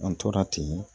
An tora ten